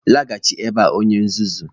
laghachi ebea onye nzuzu!